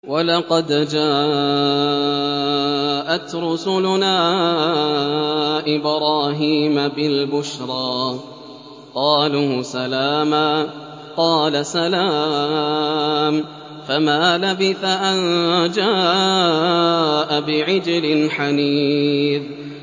وَلَقَدْ جَاءَتْ رُسُلُنَا إِبْرَاهِيمَ بِالْبُشْرَىٰ قَالُوا سَلَامًا ۖ قَالَ سَلَامٌ ۖ فَمَا لَبِثَ أَن جَاءَ بِعِجْلٍ حَنِيذٍ